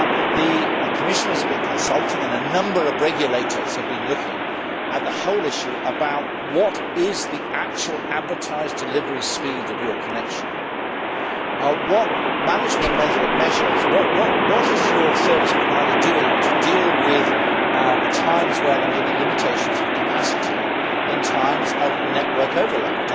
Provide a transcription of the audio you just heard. The Commission has been consulting about, and a number of regulators have been looking at, the whole issue of what the actual advertised delivery speed of one's connection is, what the management measures are and what service providers are doing to deal with times where there may be limitations of capacity in times of network overload.